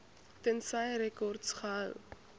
tensy rekords gehou